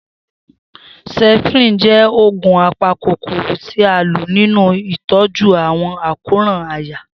Septrin jẹ oogun apakokoro ti a lo ninu itọju awọn àkóràn àyà.